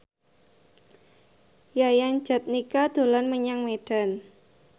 Yayan Jatnika dolan menyang Medan